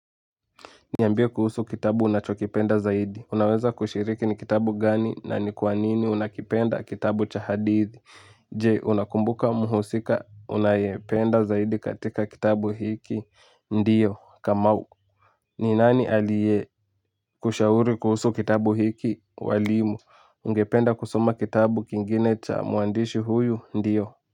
Niambie kuhusu kitabu unachokipenda zaidi. Unaweza kushiriki ni kitabu gani na ni kwa nini unakipenda kitabu cha hadithi. J. Unakumbuka mhusika unayependa zaidi katika kitabu hiki. Ndiyo. Kamau. Ni nani aliye kushauri kuhusu kitabu hiki. Walimu. Ungependa kusoma kitabu kingine cha mwandishi huyu. Ndiyo.